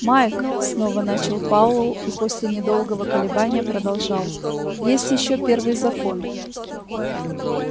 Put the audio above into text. майк снова начал пауэлл и после недолго колебания продолжал есть ещё первый закон